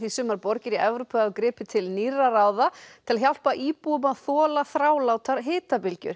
sumar borgir í Evrópu hafa gripið til nýrra ráða til að hjálpa íbúum að þola þrálátar